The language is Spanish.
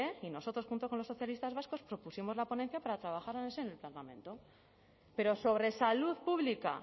y nosotros junto con los socialistas vascos propusimos la ponencia para trabajarla en el seno del parlamento pero sobre salud pública